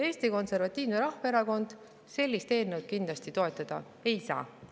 Eesti Konservatiivne Rahvaerakond sellist eelnõu kindlasti toetada ei saa.